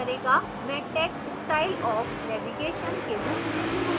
मैं text style of navigation के रूप में चुनुंगी